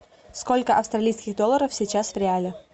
сколько австралийских долларов сейчас в реале